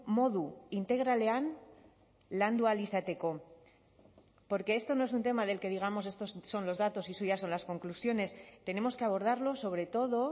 modu integralean landu ahal izateko porque esto no es un tema del que digamos estos son los datos y suyas son las conclusiones tenemos que abordarlo sobre todo